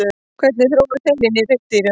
hvernig þróaðist heilinn í hryggdýrum